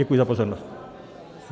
Děkuji za pozornost.